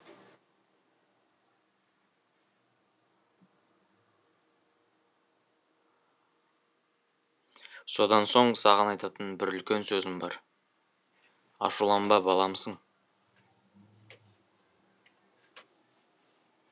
содан соң саған айтатын бір үлкен сөзім бар ашуланба баламысың